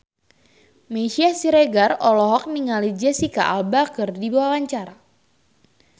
Meisya Siregar olohok ningali Jesicca Alba keur diwawancara